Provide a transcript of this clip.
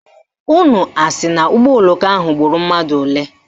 Unu asị na ụgbọoloko ahụ gburu mmadụ ole?